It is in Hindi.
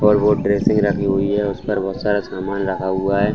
और वो ड्रेसिंग रखी हुई है उस पर बहुत सारा सामान रखा हुआ है।